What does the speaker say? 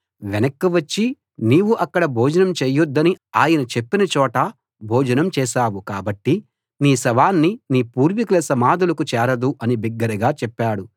వెనక్కి వచ్చి నీవు అక్కడ భోజనం చేయొద్దని ఆయన చెప్పిన చోట భోజనం చేశావు కాబట్టి నీ శవాన్ని నీ పూర్వీకుల సమాధులకు చేరదు అని బిగ్గరగా చెప్పాడు